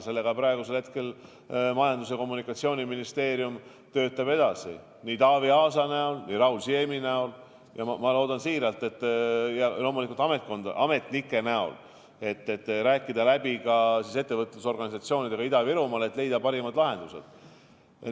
Praegu töötab selle kallal Majandus- ja Kommunikatsiooniministeerium, nii Taavi Aas kui ka Raul Siem ja loomulikult ametnikud tegutsevad selle nimel, et rääkida läbi ettevõtlusorganisatsioonidega Ida-Virumaal ja leida parimad lahendused.